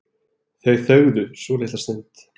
Þau þögðu svolitla stund.